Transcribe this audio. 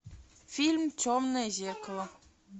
фильм темное зеркало